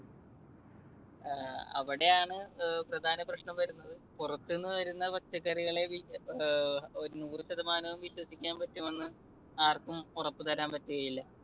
അവിടെയാണ് പ്രധാന പ്രശ്‌നം വരുന്നത്. പുറത്തുന്നു വരുന്ന പച്ചക്കറികളെ വിശ്വസി ~നൂറു ശതമാനവും വിശ്വസിക്കാൻ പറ്റുമെന്ന് ആർക്കും ഉറപ്പുതരാൻ പറ്റുകയില്ല.